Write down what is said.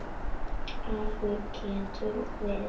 Afl getur verið